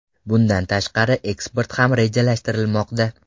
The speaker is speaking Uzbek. Bundan tashqari eksport ham rejalashtirilmoqda.